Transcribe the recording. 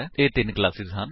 ਇਹ ਤਿੰਨ ਕਲਾਸੇਸ ਹਨ